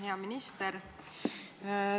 Hea minister!